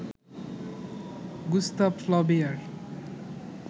Gustave Flaubert